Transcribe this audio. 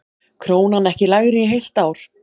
Krónan ekki lægri í heilt ár